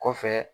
Kɔfɛ